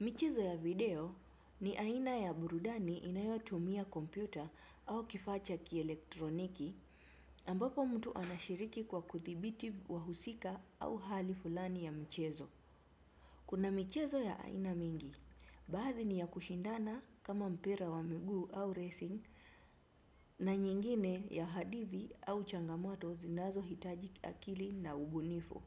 Michezo ya video ni aina ya burudani inayotumia kompyuta au kifaa cha kielektroniki ambapo mtu anashiriki kwa kuthibiti wahusika au hali fulani ya mchezo. Kuna michezo ya aina mingi, baadhi ni ya kushindana kama mpira wa miguu au racing na nyingine ya hadithi au changamoto zinazohitaji akili na ubunifu.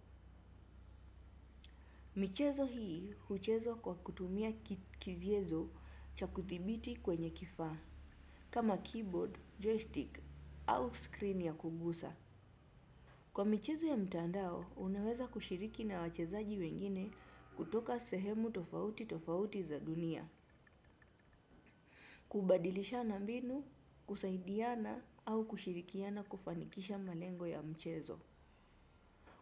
Michezo hii huchezwa kwa kutumia kiziezo cha kuthibiti kwenye kifaa, kama keyboard, joystick au screen ya kugusa. Kwa michezo ya mtandao, unaweza kushiriki na wachezaji wengine kutoka sehemu tofauti tofauti za dunia, kubadilishana mbinu, kusaidiana au kushirikiana kufanikisha malengo ya mchezo.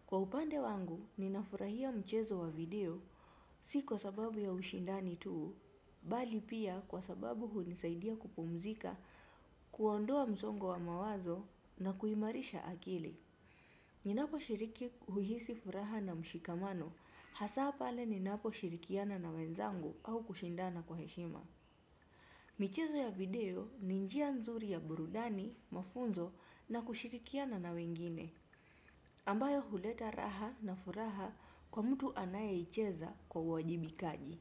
Kwa upande wangu, ninafurahia mchezo wa video si kwa sababu ya ushindani tuu, bali pia kwa sababu hunisaidia kupumzika, kuondoa mzongo wa mawazo na kuimarisha akili. Ninaposhiriki huhisi furaha na mshikamano, hasaa pale ninaposhirikiana na wenzangu au kushindana kwa heshima. Michezo ya video ni njia nzuri ya burudani, mafunzo na kushirikiana nawengine, ambayo huleta raha na furaha kwa mtu anayeicheza kwa uwajibikaji.